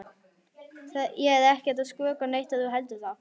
Ég er ekkert að skrökva neitt ef þú heldur það.